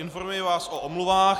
Informuji vás o omluvách.